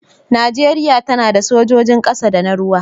Najeriya tana da sojojin ƙasa da na ruwa.